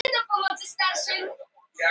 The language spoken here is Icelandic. Hrefna var nýlega orðin nágranni